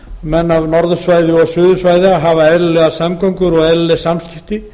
menn af norðursvæði og suðursvæði að hafa eðlilegar samgöngur og eðlileg samskipti